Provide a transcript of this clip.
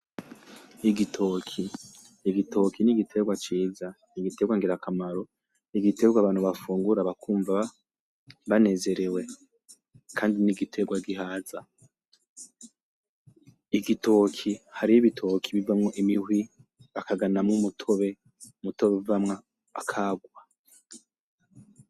igitoke, igitoke nigiterwa ciza nigiterwa ngirakamaro nigiterwa abantu bafungura bakumva banezerewe kandi nigiterwa gihaza igitoke, hariho ibitoke ibivamwo imihwi bakaganamwo umutobe, umutobe uvamwo akarwa